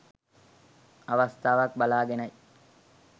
අවස්ථාවක් බලාගෙනයි